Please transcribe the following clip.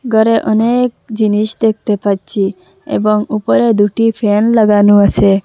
ঘরে অনেক জিনিস দেখতে পাচ্ছি এবং উপরে দুটি ফ্যান লাগানো আসে।